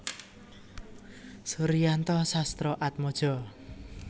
Suryanto Sastroatmojo